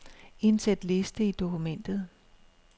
Indsæt liste i dokumentet.